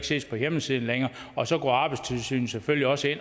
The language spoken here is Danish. ses på hjemmesiden og så går arbejdstilsynet selvfølgelig også